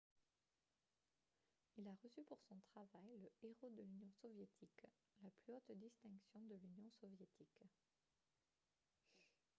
il a reçu pour son travail le « héros de l’union soviétique » la plus haute distinction de l’union soviétique